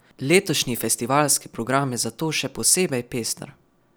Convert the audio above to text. Letošnji festivalski program je zato še posebej pester.